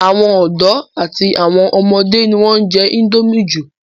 àwọn ọ̀dọ́ àti àwọn ọmọdé ni wọ́n ń jẹ́ índómì jù